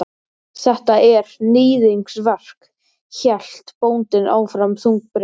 Þetta er. níðingsverk, hélt bóndinn áfram þungbrýnn.